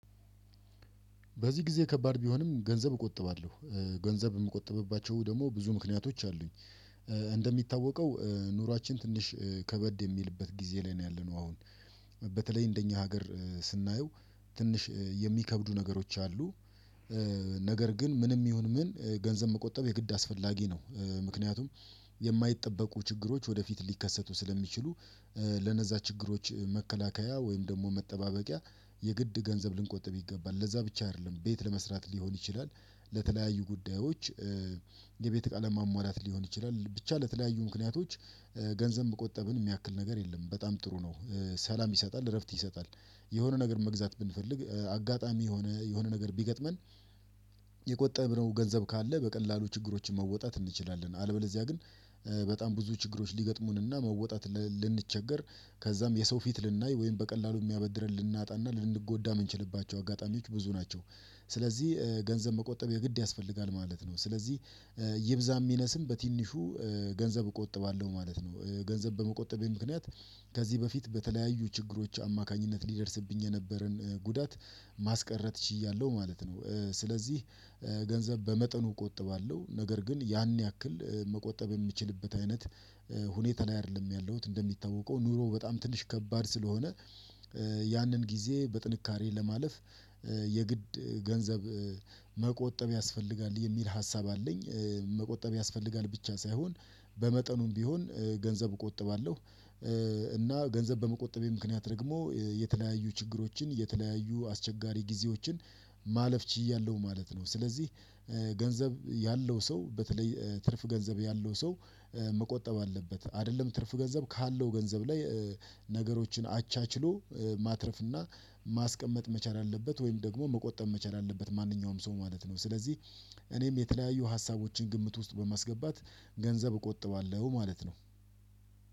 በዚህ ጊዜ ከባድ ቢሆንም ገንዘብ እቆጥባለሁ፤ ገንዘብ የምቆጥብባቸው ደግሞ ብዙ ምክንያቶች አሉኝ፤። እንደሚታወቀው ኑሯችን ትንሽ ከበድ የሚልበት ጊዜ ላይ ነው ያለነው አሁን። በተለይ እንደኛ ሀገር ስናየው ትንሽ የሚከብዱ ነገሮች አሉ፤። ነገር ግን ምንም ይሁን ምን ገንዘብ መቆጠብ የግድ አስፈላጊ ነው ምክንያቱም የማይጠበቁ ችግሮች ወደፊት ሊከሰቱ ስለሚችሉ ለነዛ ችግሮች መከላከያ ወይም ደግሞ መጠባበቂያ የግድ ገንዘብ ልንቆጥብ ይገባል ለዛ ብቻ አይደለም ቤት ለመስራት ሊሆን ይችላል። ለተለያዩ ጉዳዮች የቤት እቃ ለማሟላት ሊሆን ይችላል፤። ብቻ ለተለያዩ ምክንያቶች ገንዘብ መቆጠብን የሚያክል ነገር የለም፤። በጣም ጥሩ ነው ሰላም ይሰጣል እረፍት ይሰጣል። የሆነ ነገር መግዛት ብንፈልግ አጋጣሚ የሆነ የሆነ ነገር ቢገጥመን የቆጠብነው ገንዘብ ካለ በቀላሉ ችግሮችን መወጣት እንችላለን። አለበለዚያ ግን በጣም ብዙ ችግሮች ሊገጥሙንና መወጣት ልንቸገር ከዛም የሰው ፊት ልናይ ወይም በቀላሉ የሚያበድረን ልናጣና ልንጎዳ የምንችልባቸው አጋጣሚዎች ብዙ። ስለዚህ ገንዘብ መቆጠብ የግድ ያስፈልጋል ማለት ነው። ስለዚህ ይብዛም ይነስም በትንሹ ገንዘብ እቆጥባለሁ ማለት ነው። ገንዘብ በመቆጠቤ ምክንያት ከዚህ በፊት በተለያዩ ችግሮች አማካኝነት ሊደርስብኝ የነበረን ጉዳት ማስቀረት ችያለሁ ማለት ነው። ስለዚህ ገንዘብ በመጠኑ እቆጥባለሁ ነገር ግን ያን ያክል መቆጠብ የሚችልበት አይነት ሁኔታ ላይ አይደለም ያለሁት፤። እንደሚታወቀው ኑሮ በጣም ትንሽ ከባድ ስለሆነ ያንን ጊዜ በጥንካሬ ለማለፍ የግድ ገንዘብ መቆጠብ ያስፈልጋል የሚል ሀሳብ አለኝ። መቆጠብ ያስፈልጋል ብቻ ሳይሆን በመጠኑም ቢሆን ገንዘብ እቆጥባለሁ፤። እና ገንዘብ በመቆጠቤ ምክንያት ደግሞ የተለያዩ ችግሮችን የተለያዩ አስቸጋሪ ጊዜዎችን ማለፍ ችያለሁ ማለት ነው። ስለዚህ ገንዘብ ያለው ሰው በተለይ ትርፍ ገንዘብ ያለው ሰው መቆጠብ አለበት አይደለም ትርፍ ገንዘብ ካለው ገንዘብ ላይ ነገሮችን አቻችሎ ማትረፍ እና ማስቀመጥ መቻል አለበት ወይም ደግሞ መቆጠብ መቻል አለበት ማንኛውም ሰው ማለት ነው። ስለዚህ እኔም የተለያዩ ሀሳቦችን ግምት ውስጥ በማስገባት ገንዘብ እቆጥባለሁ ማለት ነው፤